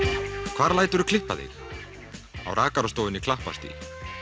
hvar læturu klippa þig á rakarastofunni Klapparstíg